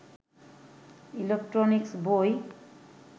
electronics বই